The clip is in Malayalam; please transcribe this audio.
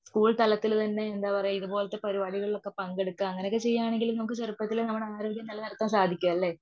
സ്കൂൾ തലത്തിലെന്നെ എന്തപറയുക ഇതുപോലത്തെ പരിപാടികളിലൊക്കെ പങ്കെടുക്കുക അങ്ങനെയൊക്കെ ചെയ്യുവാനെങ്കിൽ നമുക്ക് ചെറുപ്പത്തില് നമ്മുടെ ആരോഗ്യം നിലനിർത്താൻ സാധിക്കുവല്ലേ.